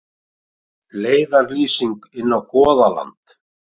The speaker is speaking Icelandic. Leiðarlýsing inn á Goðaland.